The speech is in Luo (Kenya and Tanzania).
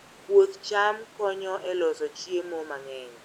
Puoth cham konyo e loso chiemo mang'eny.